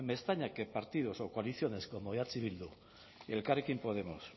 me extraña que partidos o coaliciones como eh bildu y elkarrekin podemos